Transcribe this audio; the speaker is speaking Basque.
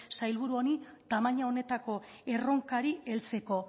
sailburu honi tamaina honetako erronkari heltzeko